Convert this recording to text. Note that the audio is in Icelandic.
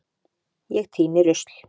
Ég tíni rusl.